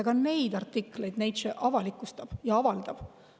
Ka neid artikleid Nature avalikustab ja avaldab.